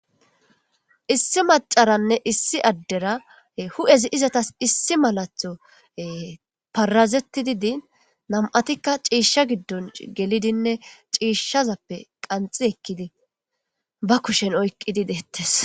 Issi aderane issi macara hu'ezi izetas issi malatho parazetidi din nam'atika cisha maata gidon gelidine cishazape qanxi ekidi ba kushen oykidi deetes